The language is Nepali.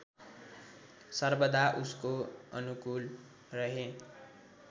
सर्वदा उसको अनुकूल रहे